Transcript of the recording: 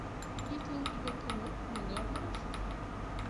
есть ли у тебя кино милые обманщицы